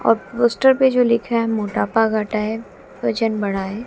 और पोस्टर पे जो लिखा है मोटापा घटाएं वजन बढ़ाए--